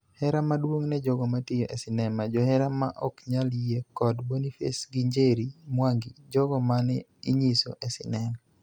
Hera maduong' ne jogo matiyo e sinema, johera ma ok nyal yie, kod Boniface gi Njeri Mwangi (jogo mane inyiso e sinema).